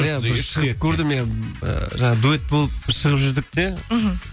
иә бір шығып көрдім иә ы жаңағы дуэт болып шығып жүрдік те мхм